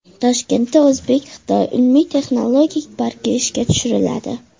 Toshkentda o‘zbek-xitoy ilmiy-texnologik parki ishga tushiriladi.